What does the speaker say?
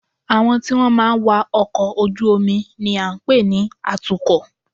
Àwọn tí wọ́n máa ń wa ọkọ̀ ojú-omi ni à ń pè ní atukọ̀